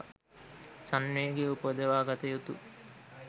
සංවේගය උපදවාගත යුතු